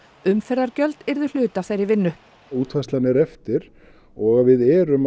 umferðargjöld yrðu hluti af þeirri vinnu útfærslan er eftir og að við erum